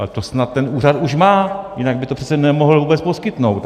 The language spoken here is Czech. Ale to snad ten úřad už má, jinak by to přece nemohl vůbec poskytnout?